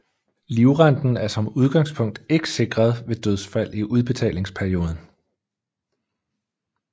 Livrenten er som udgangspunkt ikke sikret ved dødsfald i udbetalingsperioden